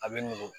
A bɛ nugu